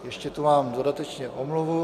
Ještě tu mám dodatečně omluvu.